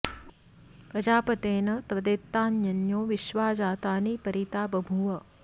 प्रजा॑पते॒ न त्वदे॒तान्य॒न्यो विश्वा॑ जा॒तानि॒ परि॒ ता ब॑भूव